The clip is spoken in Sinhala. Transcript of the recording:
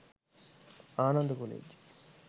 Ananda college